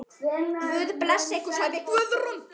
Guð blessi ykkur, sagði Guðrún.